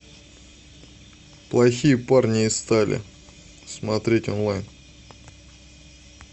плохие парни из стали смотреть онлайн